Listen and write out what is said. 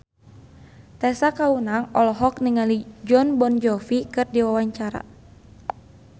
Tessa Kaunang olohok ningali Jon Bon Jovi keur diwawancara